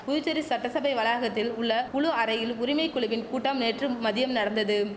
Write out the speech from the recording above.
புதுச்சேரி சட்டசபை வளாகத்தில் உள்ள குழு அறையில் உரிமை குழுவின் கூட்டம் நேற்று மதியம் நடந்ததும்